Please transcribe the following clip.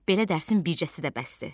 Belə dərsin bircəsi də bəsdir.